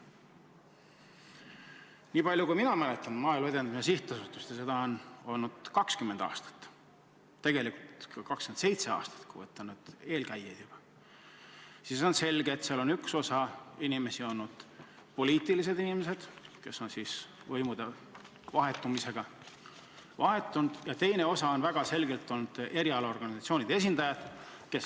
Nii palju, kui mina mäletan Maaelu Edendamise Sihtasutust – ja seda on olnud 20 aastat või tegelikult 27 aastat, kui arvestada ka tema eelkäijaid –, siis on selge, et seal on üks osa inimesi olnud poliitilise taustaga, kes on võimude vahetumisega vahetunud, ja teine osa on olnud väga selgelt erialaorganisatsioonide esindajad.